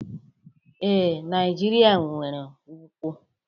Ee, Naijiria nwere nkwu.